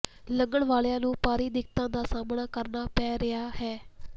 ਲੰਘਣ ਵਾਲਿਆ ਨੂੰ ਭਾਰੀ ਦਿੱਕਤਾਂ ਦਾ ਸਾਹਮਣਾ ਕਰਨਾ ਪੈ ਰਿਹਾ ਹੈ